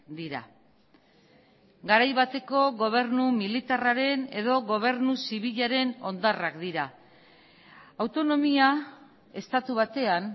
dira garai bateko gobernu militarraren edo gobernu zibilaren hondarrak dira autonomia estatu batean